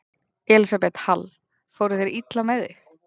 Elísabet Hall: Fóru þeir illa með þig?